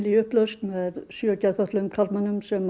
í upplausn með sjö geðfötluðum karlmönnum sem